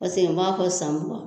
n b'a fɔ san mugan